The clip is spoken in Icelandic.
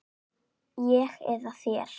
Ég eða þér?